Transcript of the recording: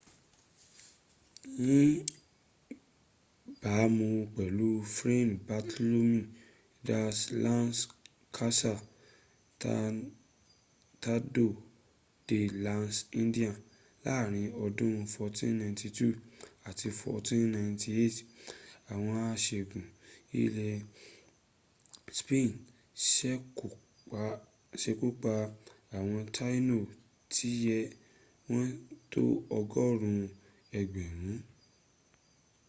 níbàámu pẹ̀lú fray bartolomé de las casas tratado de las indias láàrin ọdún 1492 àti 1498 àwọn aṣẹ́gun ilẹ̀ spain sekúpa àwọn taíno tíye wọ́n tó ọgọ́rùn ún ẹgbẹ̀rún